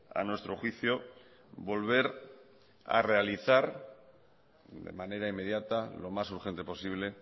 a nuestro juicio volver a realizar de manera inmediata lo más urgente posible